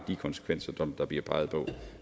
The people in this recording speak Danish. de konsekvenser som der bliver peget på